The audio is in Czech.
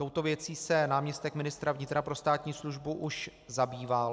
Touto věcí se náměstek ministra vnitra pro státní službu už zabýval.